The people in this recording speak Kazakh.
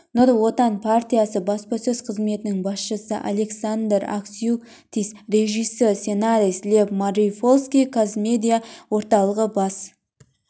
нұр отан партиясы баспасөз қызметінің басшысы александр аксютиц режиссер сценарист лев мариупольский қазмедиа орталығы бас